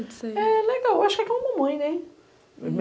você. É legal, acho que é que nem uma mamãe, né?